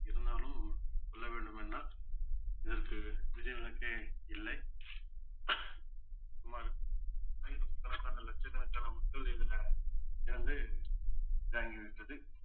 இருந்தாலும் சொல்ல வேண்டுமென்றால் இதற்கு விதி விளக்கே இல்லை சுமார் ஆயிரக்கணக்கான லட்சக்கணக்கான மக்கள் இதுல இறந்து